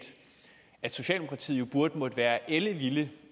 at socialdemokratiet burde være ellevilde